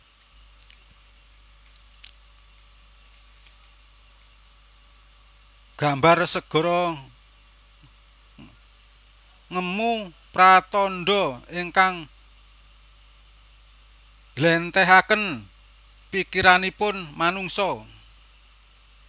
Gambar segara ngemu pratandha ingkang njléntrehaken pikiranipun manungsa